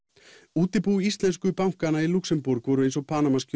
útibú íslensku bankanna í Lúxemborg voru eins og